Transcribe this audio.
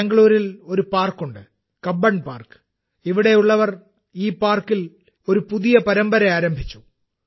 ബാംഗ്ലൂരിൽ ഒരു പാർക്കുണ്ട് - കബ്ബൺ പാർക്ക് ഇവിടെയുള്ളവർ ഈ പാർക്കിൽ ഒരു പുതിയ പരമ്പര ആരംഭിച്ചു